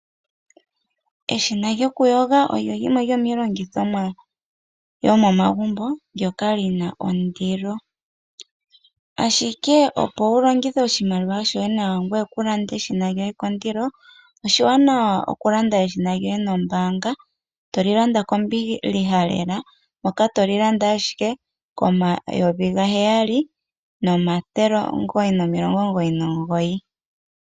Eshina lyokuyoga olyo limwe lyomiilongithomwa yomomagumbo ndyoka li na ondilo, ashike opo wu longithe oshimaliwa shoye nawa ngoye waa lande eshina lyoye kondilo, oshiwanawa wu lande eshina lyoye nombaanga to li landa kombiliha lela to li landa ashike koN$ 7 999.